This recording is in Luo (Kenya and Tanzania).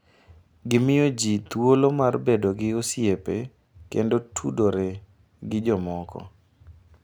Gimiyo ji thuolo mar bedo gi osiepe kendo tudore gi jomoko.